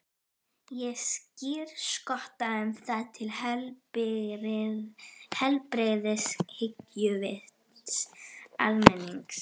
Ég skírskota um það til heilbrigðs hyggjuvits almennings.